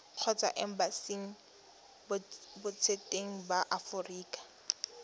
kgotsa embasing botseteng ba aforika